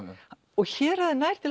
og héraðið nær til